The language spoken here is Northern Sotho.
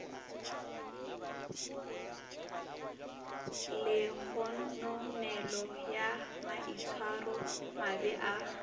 le kgononelo ya maitshwaromabe a